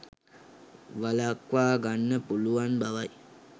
වලක්වා ගන්න පුළුවන් බවයි